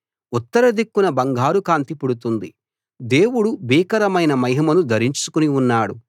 ఉత్తర దిక్కున బంగారు కాంతి పుడుతుంది దేవుడు భీకరమైన మహిమను ధరించుకుని ఉన్నాడు